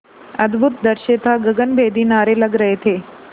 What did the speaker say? अद्भुत दृश्य था गगनभेदी नारे लग रहे थे